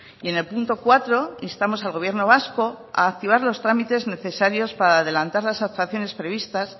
y en el punto cuatro instamos al gobierno vasco a activar los trámites necesarios para adelantar las actuaciones previstas